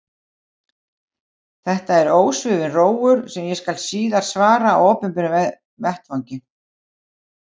Þetta er ósvífinn rógur, sem ég skal síðar svara á opinberum vettvangi.